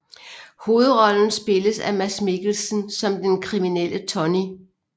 Hovedrollen spilles af Mads Mikkelsen som den kriminelle Tonny